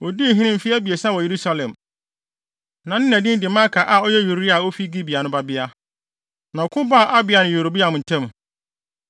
Odii hene mfe abiɛsa wɔ Yerusalem. Na ne na din de Maaka a ɔyɛ Uriel a ofi Gibea no babea. Na ɔko baa Abia ne Yeroboam ntam.